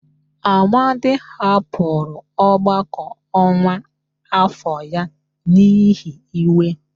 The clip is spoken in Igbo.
Amadi hapụrụ ọgbakọ ọkwa afọ ya n'ihi iwe